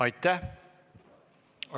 Aitäh!